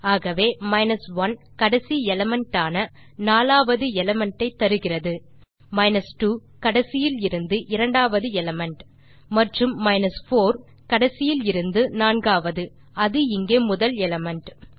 ஆகவே 1 கடைசி எலிமெண்ட் ஆன 4 வது எலிமெண்ட் ஐ தருகிறது 2 கடைசியிலிருந்து இரண்டாவது எலிமெண்ட் மற்றும் 4 கடைசியிலிருந்து நான்காவது அது இங்கே முதல் எலிமெண்ட்